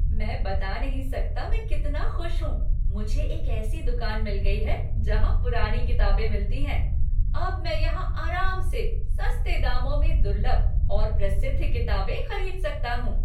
मैं बता नहीं सकता मैं कितना खुश हूँ, मुझे एक ऐसी दुकान मिल गई है जहां पुरानी किताबें मिलती हैं। अब मैं यहां आराम से सस्ते दामों में दुर्लभ और प्रसिद्ध किताबें खरीद सकता हूँ।